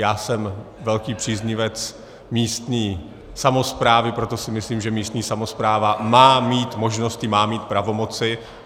Já jsem velký příznivec místní samosprávy, proto si myslím, že místní samospráva má mít možnosti, má mít pravomoci.